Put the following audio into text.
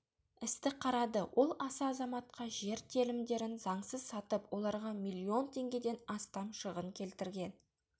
істі қарады ол аса азаматқа жер телімдерін заңсыз сатып оларға миллион теңгеден астам шығын келтірген